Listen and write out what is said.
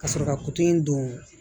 Ka sɔrɔ ka kuto in don